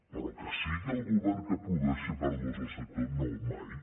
però que sigui el govern que produeixi pèrdues al sector no mai